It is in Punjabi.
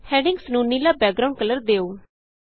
ਹੈਡਿੰਗਸ ਨੂੰ ਨੀਲਾ ਬੈਕਗਰਾਂਉਡ ਕਲਰ ਦਿਉ